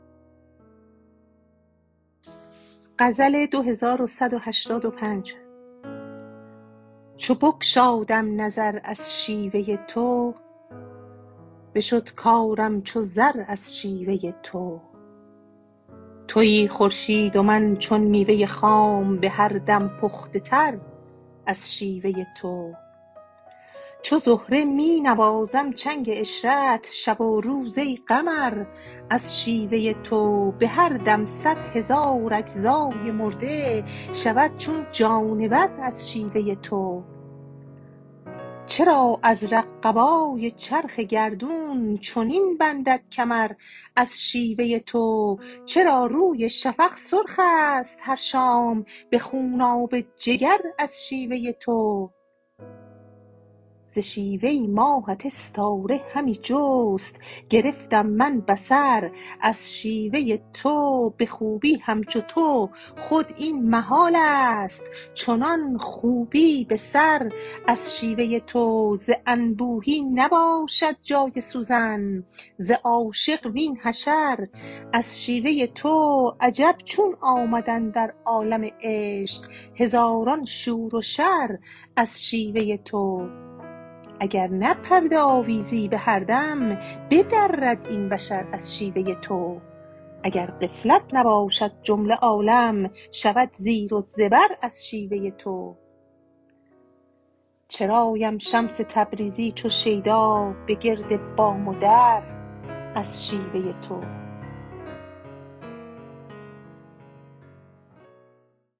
چو بگشادم نظر از شیوه تو بشد کارم چو زر از شیوه تو توی خورشید و من چون میوه خام به هر دم پخته تر از شیوه تو چو زهره می نوازم چنگ عشرت شب و روز ای قمر از شیوه تو به هر دم صد هزار اجزای مرده شود چون جانور از شیوه تو چرا ازرق قبای چرخ گردون چنین بندد کمر از شیوه تو چرا روی شفق سرخ است هر شام به خونابه جگر از شیوه تو ز شیوه ماهت استاره همی جست گرفتم من بصر از شیوه تو به خوبی همچو تو خود این محال است چنان خوبی به سر از شیوه تو ز انبوهی نباشد جان سوزن ز عاشق وین حشر از شیوه تو عجب چون آمد اندر عالم عشق هزاران شور و شر از شیوه تو اگر نه پرده آویزی به هر دم بدرد این بشر از شیوه تو اگر غفلت نباشد جمله عالم شود زیر و زبر از شیوه تو چرایم شمس تبریزی چو شیدا به گرد بام و در از شیوه تو